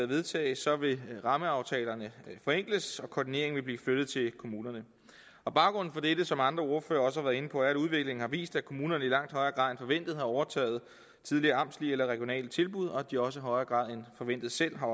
vedtages vil rammeaftalerne forenkles og koordineringen vil blive flyttet til kommunerne og baggrunden for det er som andre ordførere også har været inde på at udviklingen har vist at kommunerne i langt højere grad end forventet har overtaget tidligere amtslige eller regionale tilbud og at de også i højere grad end forventet selv har